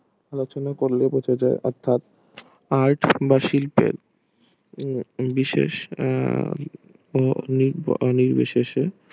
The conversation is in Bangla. রচনা কর লেগেছে অর্থাৎ আয় বা শিল্পের বিশেষ আহ নির আহ নির্বিশেষে